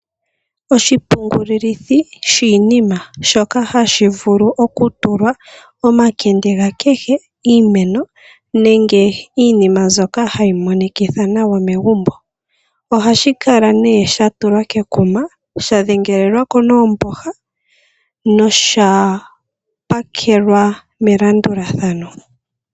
Oshipungululithi shiinima shoka hashi vulu ou tulwa omakende ga kehe iimeno nenge iinima mbyoka hayi monikithitha nawa megumbo. Ohashi kala nee sha tulwa kekuma shadhengelelwako noomboha nosha pakelwa melandulathano.